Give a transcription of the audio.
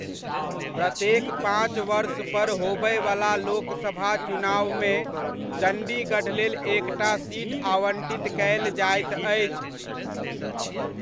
प्रत्येक पाँच वर्ष पर होबयवला लोकसभा चुनावमे चण्डीगढ़ लेल एकटा सीट आवण्टित कयल जाइत अछि।